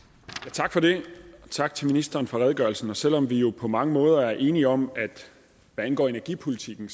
tak for det og tak til ministeren for redegørelsen selv om vi jo på mange måder er enige om hvad angår energipolitikken